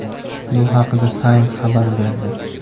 Bu haqda Science xabar berdi .